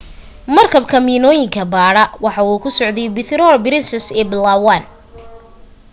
markabka miinooyinka baadha waxa uu ku socday puerto princesa ee palawan